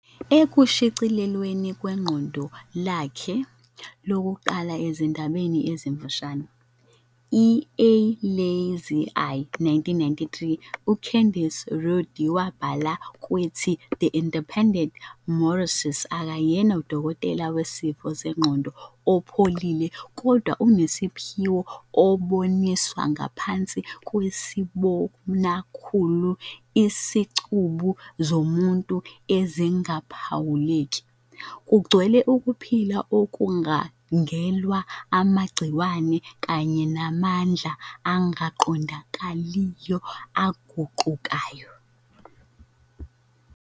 Ekushicilelweni kweqoqo lakhe lokuqala lezindaba ezimfushane, "i-A Lazy Eye", 1993, uCandice Rodd wabhala kwethi "The Independent" - "UMorrissy akayena udokotela wezifo zengqondo opholile kodwa onesiphiwo oboniswa ngaphansi kwesibonakhulu izicubu zomuntu ezingaphawuleki. kugcwele ukuphila okubangelwa amagciwane kanye namandla angaqondakaliyo, aguqukayo."